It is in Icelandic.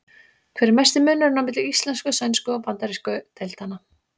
Hver er mesti munurinn á milli íslensku-, sænsku- og bandarísku deildanna?